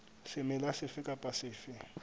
semela sefe kapa sefe se